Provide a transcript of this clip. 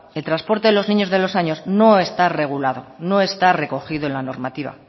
el transporte de los niños de dos años no está regulado no está recogido en la normativa